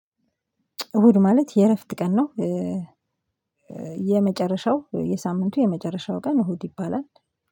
እሁድ ማለት የእረፍት ቀን ነው። የመጨረሻው የሳምንቱ የመጨረሻው ቀን እሁድ ይባላል